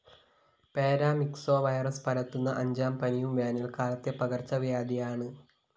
paramyxo virus പരത്തുന്ന അഞ്ചാം പനിയും വേനല്‍ക്കാലത്തെ പകര്‍ച്ചവ്യാധിയാണ്